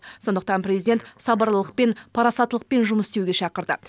сондықтан президент сабырлылықпен парасаттылықпен жұмыс істеуге шақырды